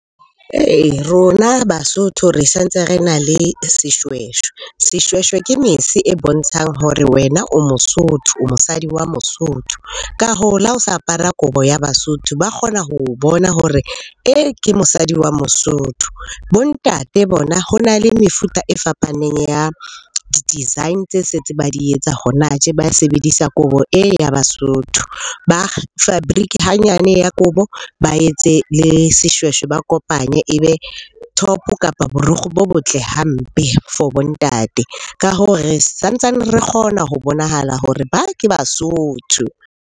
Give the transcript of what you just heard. Ee, rona Basotho re sa ntse re na le seshweshwe. Seshweshwe ke mese e bontshang hore wena o mosotho, o mosadi wa mosotho. Ka hoo, la ho sa apara kobo ya Basotho ba kgona ho o bona hore e, ke mosadi wa mosotho. Bo ntate bona ho na le mefuta e fapaneng ya di-design tse se ntse ba di etsa hona tje ba sebedisa kobo e, ya Basotho. Ba fabric-e hanyane ya kobo ba etse le seshweshwe, ba kopanye ebe top-o, kapa borikgwe bo botle hampe for bo Ntate. Ka hoo re sa ntsane re kgona ho bonahala hore ba, ke Basotho.